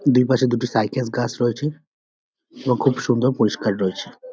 দুই পাশে দুটি সাইকাস গাছ রয়েছে এবং খুব সুন্দর পরিষ্কার রয়েছে।